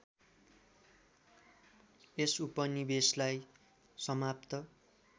यस उपनिवेशलाई समाप्त